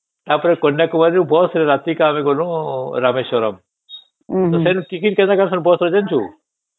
ତା ପରେ କନ୍ୟାକୁମାରୀ ରୁ bus ରେ ରାତିରେ ଆମେ ଗଲୁ ରାମେଶ୍ୱରମ ତା ସେଇଠି ଟିଫିନ କା କଲୁ bus ରେ ଜାଣିଚୁ